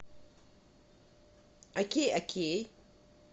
окей окей